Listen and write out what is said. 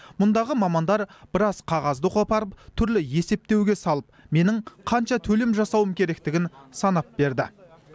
мұндағы мамандар біраз қағазды қопарып түрлі есептеуге салып менің қанша төлем жасауым керектігін санап берді